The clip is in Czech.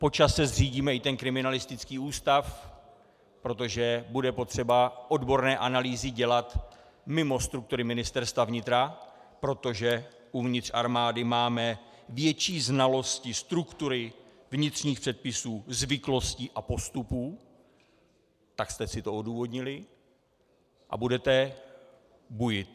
Po čase zřídíme i ten kriminalistický ústav, protože bude potřeba odborné analýzy dělat mimo struktury Ministerstva vnitra, protože uvnitř armády máme větší znalosti struktury, vnitřních předpisů, zvyklostí a postupů, tak jste si to odůvodnili, a budete bujet.